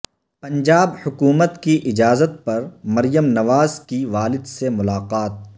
پنجاب حکومت کی اجازت پر مریم نواز کی والد سے ملاقات